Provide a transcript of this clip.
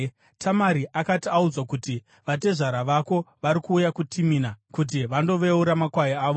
Tamari akati audzwa kuti, “Vatezvara vako vari kuenda kuTimina kuti vandoveura makwai avo,”